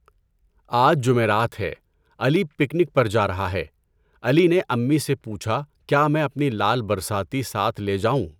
آج جمعرات ہے، علی پکنک پر جا رہا ہے، علی نے امّی سے پوچھا کیا میں اپنی لال برساتی ساتھ لے جاؤں؟